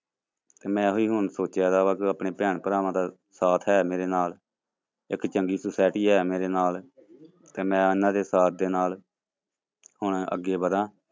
ਤੇ ਮੈਂ ਇਹੀ ਹੁਣ ਸੋਚਿਆ ਵਾ ਕਿ ਆਪਣੇ ਭੈਰ ਭਰਾਵਾਂ ਦਾ ਸਾਥ ਹੈ ਮੇਰੇ ਨਾਲ, ਇੱਕ ਚੰਗੀ society ਹੈ ਮੇਰੇ ਨਾਲ ਤੇ ਮੈਂ ਉਹਨਾਂ ਦੇ ਸਾਥ ਦੇ ਨਾਲ ਹੁਣ ਅੱਗੇ ਵਧਾਂ,